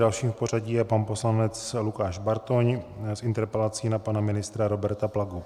Dalším v pořadí je pan poslanec Lukáš Bartoň s interpelací na pana ministra Roberta Plagu.